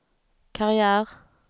karriär